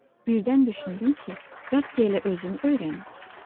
Birdən düşündüm ki, bəlkə elə özüm öyrənim.